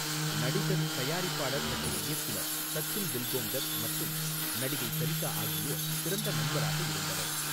நடிகர், தயாரிப்பாளர் மற்றும் இயக்குனர் சச்சின் பில்கோங்கர் மற்றும் நடிகை சரிகா ஆகியோர் சிறந்த நண்பராக இருந்தனர்